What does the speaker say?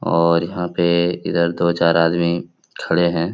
और यहाँ पे इधर दो चार आदमी खड़े हैं।